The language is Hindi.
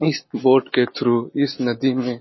इस बोट के थ्रू इस नदी में --